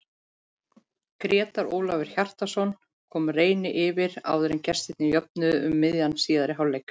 Grétar Ólafur Hjartarson kom Reyni yfir áður en gestirnir jöfnuðu um miðjan síðari hálfleik.